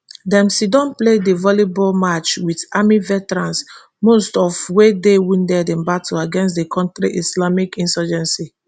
dem siddon play di volleyball match with army veterans most of wey dey wounded in battle against di kontri islamist insurgency